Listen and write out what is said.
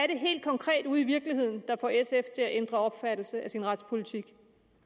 det helt konkret ude i virkeligheden der får sf til at ændre opfattelse af sin retspolitik